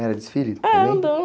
Era desfile também?,